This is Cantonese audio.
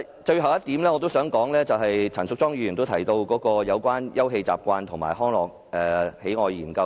最後，我想談陳淑莊議員在修正案中建議的"休憩習慣與康樂喜愛研究"。